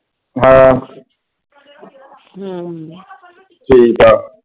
ਹਾਂ ਠੀਕ ਆ।